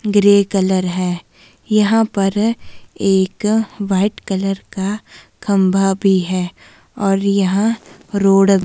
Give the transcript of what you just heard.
grey colour है यहां पर एक वाइट कलर का खंभा भी है और यहां रोड --